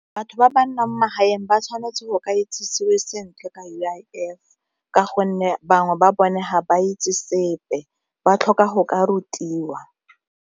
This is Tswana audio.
Batho ba ba nnang ko magaeng ba tshwanetse go ka itsisiwe sentle ka U_I_F ka gonne bangwe ba bone ga ba itse sepe ba tlhoka go ka rutiwa.